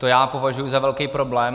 To já považuji za velký problém.